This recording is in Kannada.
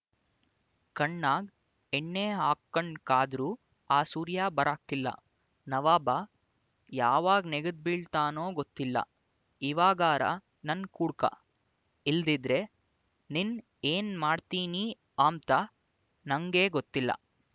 ಕಣ್ಣಾಗ್ ಎಣ್ಣೆ ಆಕ್ಕಂಡ್ ಕಾದ್ರೂ ಆ ಸೂರ್ಯ ಬರಾಕಿಲ್ಲ ನವಾಬ ಯಾವಾಗ್ ನೆಗದ್ ಬೀಳ್ತಾನೊ ಗೊತ್ತಿಲ್ಲ ಇವಾಗಾರ ನನ್ ಕೂಡ್ಕ ಇಲ್ದಿದ್ರೆ ನಿನ್ ಏನ್ ಮಾಡ್ತೀನಿ ಅಂಬ್ತ ನಂಗೇ ಗೊತ್ತಿಲ್ಲ